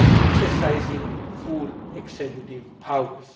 exercising full executive powers.